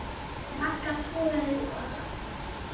Magga togaði og